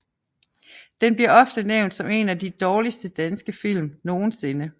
Den bliver ofte nævnt som en af de dårligste danske film nogensinde